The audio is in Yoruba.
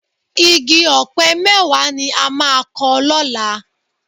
Igi ọ̀pẹ mẹ́wàá ni a máa kọ lọ́la